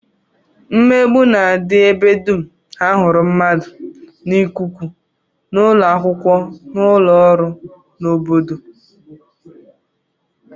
Mmegbu na-adị ebe dum a hụrụ mmadụ, n'ikuku, n'ụlọakwụkwọ, n'ụlọọrụ, n'obodo